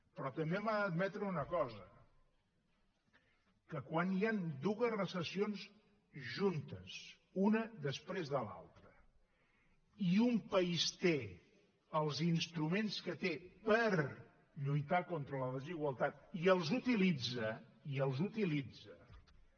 però també m’ha d’admetre una cosa que quan hi han dues recessions juntes una després de l’altra i un país té els instruments que té per lluitar contra la desigualtat i els utilitza i els utilitza